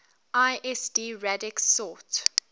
lsd radix sort